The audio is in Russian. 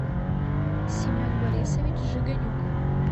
семен борисович жиганюк